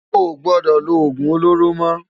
Óo gbòdò ló ógún ólóró mò